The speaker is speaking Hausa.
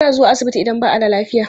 Ana zuwa asibiti idan ba a da lafiya.